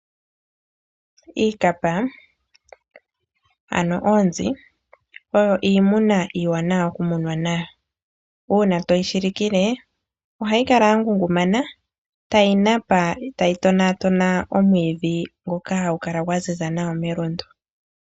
Iikapa ano oonzi oyo iimuna iiwanawa okumuna nayo. Uuna toyi shilikile ohayi kala ya ngungumana tayi napa, tayi tona tona omwiidhi mgoka hagu kala gwa ziza nawa melundu.